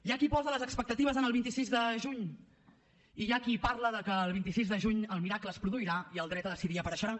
hi ha qui posa les expectatives en el vint sis de juny i hi ha qui parla que el vint sis de juny el miracle es produirà i el dret a decidir apareixerà